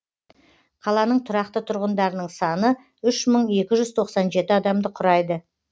қаланың тұрақты тұрғындарының саны үш мың екі жүз тоқсан жеті адамды құрайды